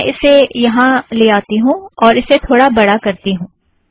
मैं इसे यहाँ ले जाती हूँ और इसे थोड़ा बड़ा करती हूँ